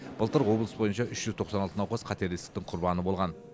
былтыр облыс бойынша үш жүз тоқсан алты науқас қатерлі ісіктің құрбаны болған